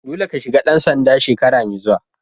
Dolle ka shiga dan sanda shekara mai zuwa!